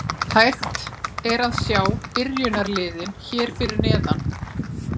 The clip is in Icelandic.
Hægt er að sjá byrjunarliðin hér fyrir neðan.